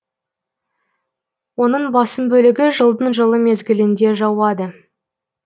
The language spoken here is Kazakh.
оның басым бөлігі жылдың жылы мезгілінде жауады